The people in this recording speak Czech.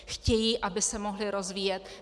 Chtějí, aby se mohli rozvíjet.